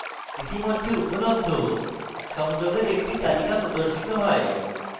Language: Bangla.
ইতিমধ্যে উপলব্ধ সংযোগের একটি তালিকা প্রদর্শিত হয়